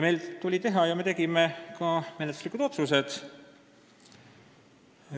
Meil tuli ka teha ja me tegimegi menetluslikud otsused.